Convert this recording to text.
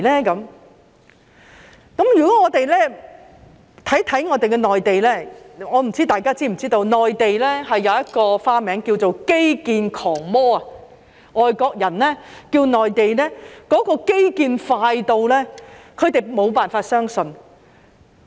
如果我們看看內地，我不知大家是否知道，內地有一個花名叫做"基建狂魔"，是因為外國人看到內地推行基建快得他們無法相信。